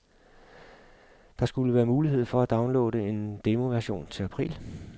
Der skulle være mulighed for at downloade en demoversion til april.